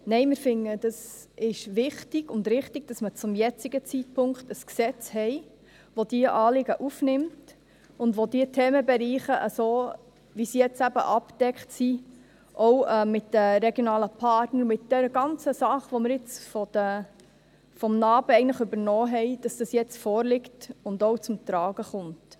Nein, wir finden es ist wichtig und richtig, dass man zum jetzigen Zeitpunkt ein Gesetz hat, welches diese Anliegen aufnimmt und die Themenbereiche, wie sie jetzt abgedeckt sind – auch mit den regionalen Partnern und den ganzen Dingen, welche wir vom NA-BE übernahmen –, wie es jetzt vorliegt auch zum Tragen kommt.